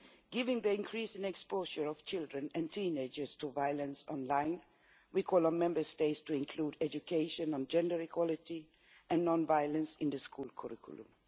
Given the increasing exposure of children and teenagers to violence online, we call on Member States to include education on gender equality and non-violence in the school curriculum